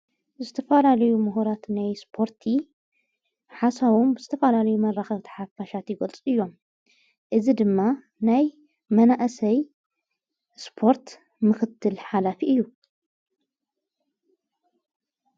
እስተፋላልዩ ምሁራት ናይ ስፖርቲ ሓሳዎም ስተፋላልዩ መራኸብተሓፋሻት ይጐልጽ እዮም እዝ ድማ ናይ መናእሰይ ስፖርት ምኽትል ሓላፊ እዩ።